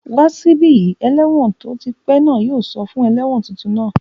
Wá sí bí! Ẹlẹ́wọ̀n tí ó ti pẹ́ náà yóò sọ fún ẹlẹ́wọ̀n tuntun náà